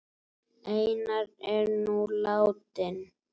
Einar er nú látinn.